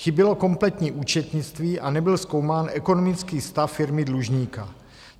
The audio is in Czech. Chybělo kompletní účetnictví a nebyl zkoumán ekonomický stav firmy dlužníka.